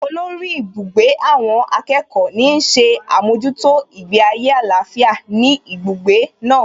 Olórí ibùgbé àwọn akẹ́kọ̀ọ́ ní ń ṣe àmójútó ìgbé ayé àlàáfíà ní ibùgbé náà